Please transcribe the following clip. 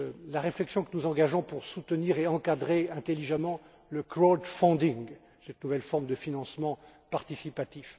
la réflexion que nous engageons pour soutenir et encadrer intelligemment le crowdfunding, cette nouvelle forme de financement participatif